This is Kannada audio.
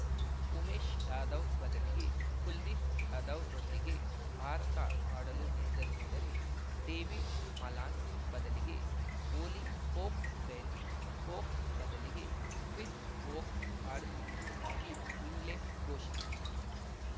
ಉಮೇಶ್‌ ಯಾದವ್‌ ಬದಲಿಗೆ ಕುಲ್ದೀಪ್‌ ಯಾದವ್‌ರೊಂದಿಗೆ ಭಾರತ ಆಡಲು ನಿರ್ಧರಿಸಿದರೆ ಡೇವಿಡ್‌ ಮಲಾನ್‌ ಬದಲಿಗೆ ಓಲಿ ಪೋಪ್‌ ಬೆನ್‌ ಸ್ಟೋಕ್ಸ್‌ ಬದಲಿಗೆ ಕ್ರಿಸ್‌ ವೋಕ್ಸ್‌ ಆಡಿಸುತ್ತಿರುವುದಾಗಿ ಇಂಗ್ಲೆಂಡ್‌ ಘೋಷಿಸಿತು